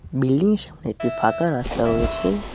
বিল্ডিংয়ের সামনে একটি ফাঁকা রাস্তা রয়েছে।